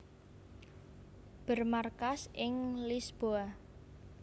Bermarkas ing Lisboa